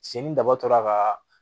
Cin daba tora ka